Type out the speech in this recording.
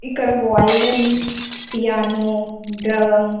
ఇక్కడ violin piano drum --